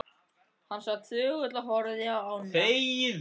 Hann sat þögull og horfði á ána.